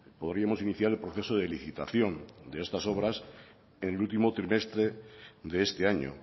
podríamos iniciar el proceso de licitación de estas obras en el último trimestre de este año